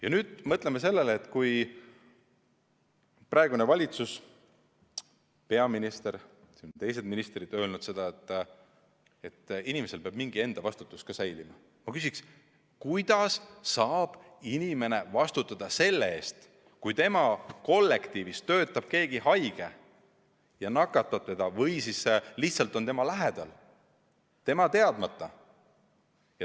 Ja nüüd mõtleme sellele, et kui praegune valitsus, peaminister ja teised ministrid on öelnud, et inimesel peab mingi enda vastutus säilima, siis ma küsiks: kuidas saab inimene vastutada selle eest, kui tema kollektiivis töötab keegi haige ja nakatab teda või siis lihtsalt on tema lähedal tema teadmata?